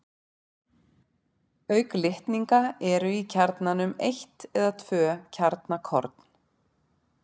Auk litninga eru í kjarnanum eitt eða tvö kjarnakorn.